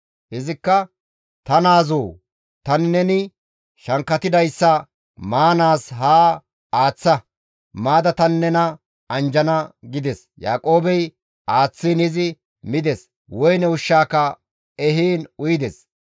Izikka, «Ta naazoo! Tani neni shankkatidayssa maanaas haa aaththa; maada tani nena anjjana» gides. Yaaqoobey aaththiin izi mides; woyne ushshaaka ehiin uyides.